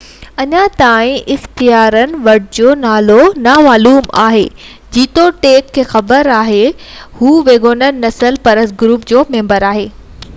اڃا تائين اختيارين وٽ هن جو نالو نامعلوم آهي جيتوڻيڪ انهن کي خبر آهي ته هو ويگور نسل پرست گروپ جو ميمبر آهي